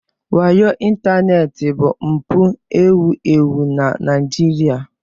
Wayo ịntanetị bụ mpụ ewu ewu na Nigeria.